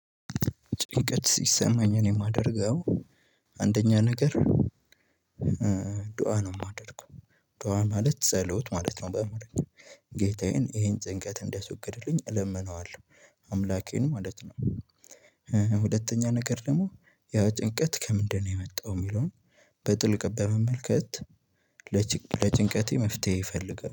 ጭንቀት ሲሰማኝ እኔ የማደርገው አንደኛ ነገር። ዱአ ነው እማደርገው ዱአ ማለት ጸሎት ማለት ነው። በአማርኛ ጌታዬን ይሄን ጭንቀት እንዲያስወግድልኝ እለምነዋለሁ አምላኬን ማለት ነው። ሁለተኛ ነገር ደግሞ ያ ጭንቀት ከምንድነው? የመጣው የሚለውን በጥልቅ በመመልከት። ለጭንቀቴ መፍትሄ እፈልጋለሁ